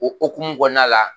O hokumu kɔnɔna la